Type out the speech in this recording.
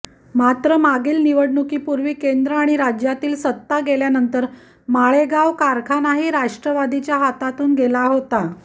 मात्र मागील निवडणुकीपूर्वी केंद्र आणि राज्यातली सत्ता गेल्यानंतर माळेगाव कारखानाही राष्ट्रवादीच्या हातून गेला होता